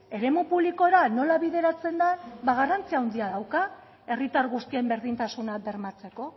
eremu publikora nola bideratzen da ba garrantzi handia dauka herritar guztien berdintasuna bermatzeko